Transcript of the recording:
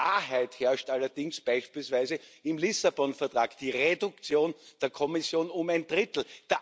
Klarheit herrscht allerdings beispielsweise im Lissabon Vertrag Die Reduktion der Kommission um ein Drittel.